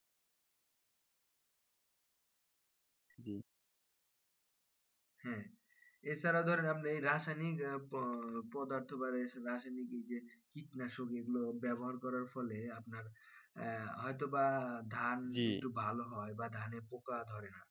হ্যাঁ এছাড়া ধরেন আপনি রাসায়নিক পদার্থের বা এই রাসায়নিক কীটনাশক গুলো ব্যবহার করার ফলে আহ হয়তো বা ধান একটু ভালো হয় ধানে পোকা ধরে না